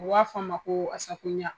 U b'a f'aɔ ma ko ASACOGNA.